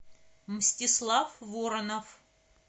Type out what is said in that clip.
мстислав воронов